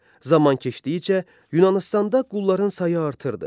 Zaman keçdikcə Yunanıstanda qulların sayı artırdı.